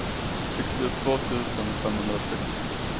sextiotvå tusen femhundrasex